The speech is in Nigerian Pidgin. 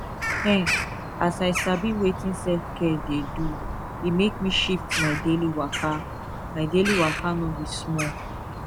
ehn as i sabi wetin selfcare dey do e make me shift my daily waka my daily waka no be small